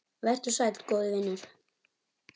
Vertu sæll, góði vinur.